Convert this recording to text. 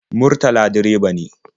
Murtala direba ne.